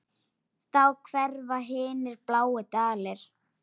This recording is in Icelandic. Þá hverfa hinir bláu dalir.